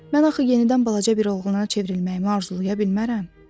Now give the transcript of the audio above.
Mən axı yenidən balaca bir oğluna çevrilməyimi arzulaya bilmərəm?